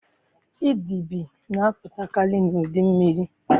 Idide na-apụtakari n'udu mmiri.